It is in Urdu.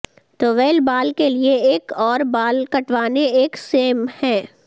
طویل بال کے لئے ایک اور بال کٹوانے ایک سیم ہے